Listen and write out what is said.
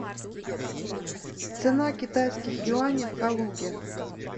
цена китайских юаней в калуге